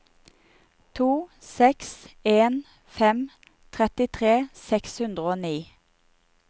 to seks en fem trettitre seks hundre og ni